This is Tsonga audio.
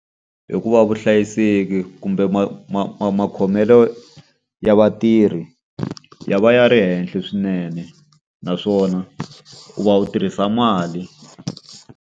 Hikuva vuhlayiseki kumbe makhomelo ya vatirhi ya va ya ri henhla swinene, naswona u va u tirhisa mali.